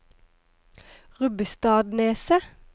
Rubbestadneset